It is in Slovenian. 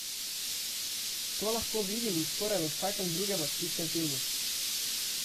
To lahko vidimo skoraj v vsakem drugem akcijskem filmu.